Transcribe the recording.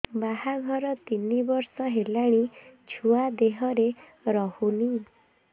ବାହାଘର ତିନି ବର୍ଷ ହେଲାଣି ଛୁଆ ଦେହରେ ରହୁନି